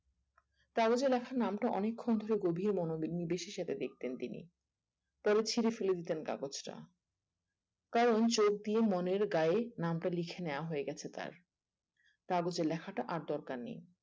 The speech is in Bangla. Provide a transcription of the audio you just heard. কাগজে লেখা নামটা অনেকখুন ধরে গভীরে মনো বিসিতে দেখতেন তিনি তবে ছিঁড়ে ফেলে দিতেন সেই কাগজটা কারণ চোখ দিয়ে মনের গায়ে নামটা লেখা হয়ে গিয়েছে তার কাগজে লেখাটা তার আর দরকার নেই